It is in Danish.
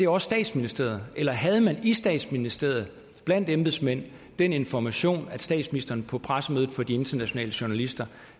også statsministeriet eller havde man i statsministeriet blandt embedsmændene den information at statsministeren på pressemødet for de internationale journalister